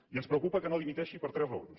i ens preocupa que no dimiteixi per tres raons